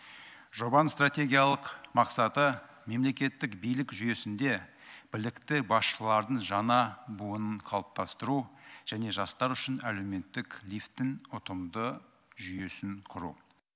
жобаның стратегиялық мақсаты мемлекеттік билік жүйесінде білікті басшылардың жаңа буынын қалыптастыру және жастар үшін әлеуметтік лифтін ұтымды жүйесін құру